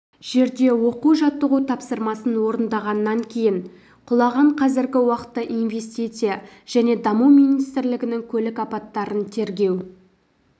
жерде оқу-жаттығу тапсырмасын орындағаннан кейін құлаған қазіргі уақытта инвестиция және даму министрлігінің көлік апаттарын тергеу